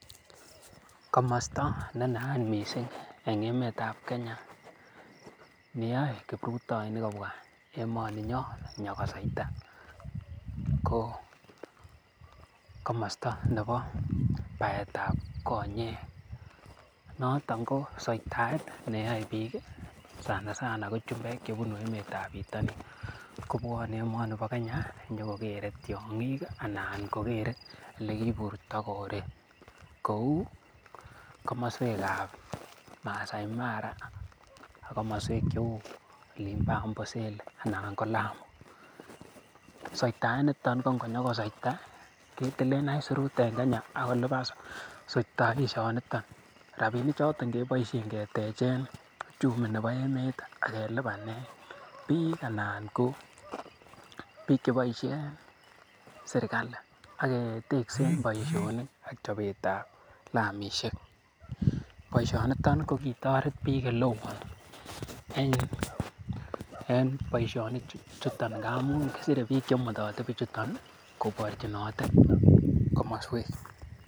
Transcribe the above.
Komosto ne naat missing, neyae kiruptoinik kobwa emaninyon bo Kenya ko komosto nebo baetab konyek anan konyokoseita ko, soitaet neyae bik ih sana sana ko chumbek kobun emetab bitonin. Konyokobuane Kenya kunyokokere tiang'ik anan olekiburta korik kou komosuekap Masai Mara ih ak kakmasuek cheuu olimbo amboseli ko lam . Soetaet niton ko ingonyokoseta ketilen aisurut en Kenya akonyokoliban soetaisiet niton. Rabinik choton keboisien ketechen uchimi nebo emeet ih akelubanen Kik anan ko bik chebaishe en serkali aketeksen boisionik ak chobetab lamisiek. Boisioni ko kitoret bik oleo en boisionik ngamun kisire bik en kakmasuek